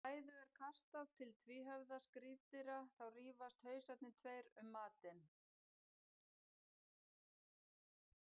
Þegar fæðu er kastað til tvíhöfða skriðdýra þá rífast hausarnir tveir um matinn.